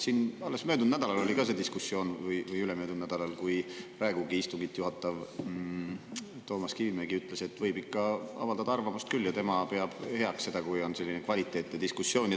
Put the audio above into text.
Siin alles möödunud või ülemöödunud nädalal oli diskussioon, kui praegugi istungit juhatav Toomas Kivimägi ütles, et võib ikka avaldada arvamust küll ja tema peab heaks seda, kui on selline kvaliteetne diskussioon.